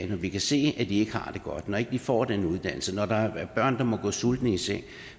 vi kan se at de ikke har det godt når ikke de får den uddannelse når der er børn der må gå sultne i seng